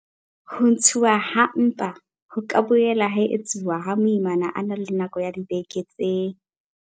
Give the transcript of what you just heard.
Ho ntshuwa ha mpa ho ka boela ha etsuwa ha moimana a na le nako ya dibeke tse.